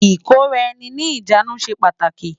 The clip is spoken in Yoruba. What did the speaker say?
IKóráèni ni ijánú sé pàtáki